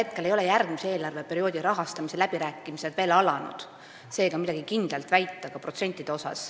Praegu ei ole järgmise eelarveperioodi rahastamise läbirääkimised veel alanud, seega ka protsentide kohta midagi kindlalt väita ei saa.